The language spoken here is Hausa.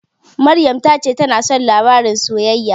Maryam ta ce tana son labaran soyayya.